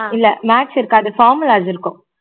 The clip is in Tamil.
இல்ல maths இருக்காது formulas இருக்கும்